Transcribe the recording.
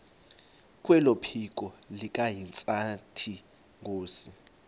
kwephiko likahintsathi inkosi